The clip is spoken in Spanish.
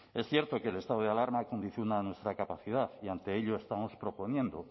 es cierto que el estado de alarma condiciona nuestra capacidad y ante ello estamos proponiendo